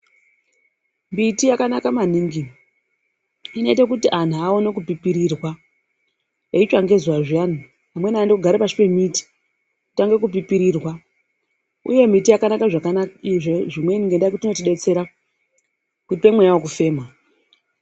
Miti yakanaka maningi. Inoite kuti anhu aone kupipirirwa eitsva ngezuwa zviyani, amweni anoende kogare pasi pemiti kutange kupipirirwa, uye miti yakanaka zvimweni ngekuti inotibetsera inotipe mweya wekufema.